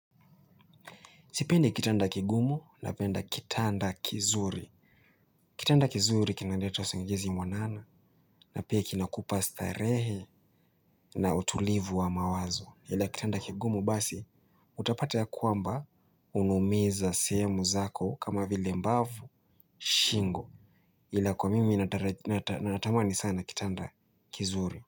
Sipendi kitanda kigumu napenda kitanda kizuri. Kitanda kizuri kinaleta usingizi mwanana na pia kinakupa starehe na utulivu wa mawazo. Ila kitanda kigumu basi utapata ya kwamba unaumiza sehemu zako kama vile mbavu shingo. Ila kwa mimi natamani sana kitanda kizuri.